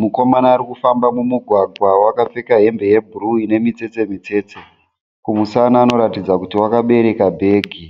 Mukomana arikufamba mumugwagwa wakapfeka hembe ye bhuruu ine mitsetse mitsetse. Kumusana anoratidza kuti wakabereka bhegi.